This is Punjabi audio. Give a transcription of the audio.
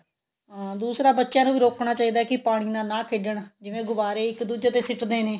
ਹਾਂ ਦੂਸਰਾ ਬੱਚਿਆਂ ਨੂੰ ਵੀ ਰੋਕਣਾ ਚਾਹੀਦਾ ਹੈ ਕਿ ਪਾਣੀ ਨਾਲ ਨਾ ਖੇਡਣ ਜਿਵੇਂ ਗੁਬਾਰੇ ਇੱਕ ਦੁੱਜੇ ਤੇ ਸਿੱਟਦੇ ਨੇ